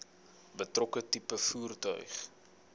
betrokke tipe voertuig